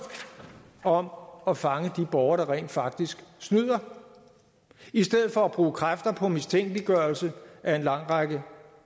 om at fange de borgere der rent faktisk snyder i stedet for at bruge kræfter på mistænkeliggørelse af en lang række